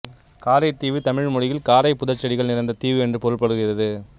காரைதீவு தமிழ் மொழி்யில் காரை புதர்ச்செடிகள் நிறைந்த தீவு என்று பொருள்படுகிறது